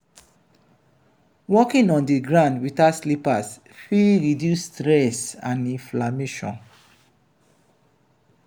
walking on di ground without slippers fit reduce stress and inflammation